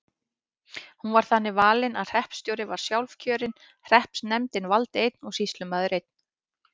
Hún var þannig valin að hreppstjóri var sjálfkjörinn, hreppsnefndin valdi einn og sýslumaður einn.